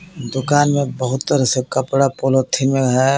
दुकान में बहुत तरह से कपड़ा पॉलिथीन में है.